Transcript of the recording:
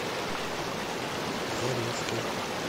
заринске